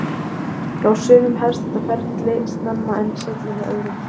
Hjá sumum hefst þetta ferli snemma en seinna hjá öðrum.